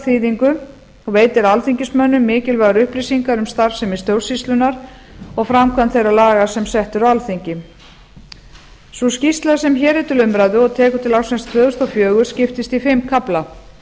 þýðingu og veitir alþingismönnum mikilvægar upplýsingar um starfsemi stjórnsýslunnar og framkvæmd þeirra laga sem sett eru á alþingi sú skýrsla sem hér er til umræðu og tekur til ársins tvö þúsund og fjögur skiptist í fimm kafla